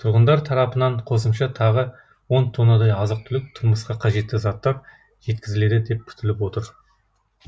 тұрғындар тарапынан қосымша тағы он тоннадай азық түлік тұрмысқа қажетті заттар жеткізіледі деп күтіліп отыр